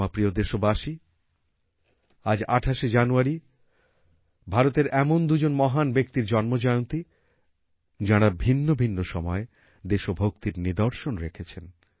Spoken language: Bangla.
আমার প্রিয় দেশবাসী আজ ২৮ জানুয়ারি ভারতের এমন দুজন মহান ব্যক্তির জন্ম জয়ন্তী যাঁরা ভিন্ন ভিন্ন সময়ে দেশভক্তির নিদর্শন রেখেছেন